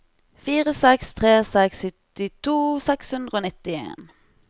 fire seks tre seks syttito seks hundre og nittien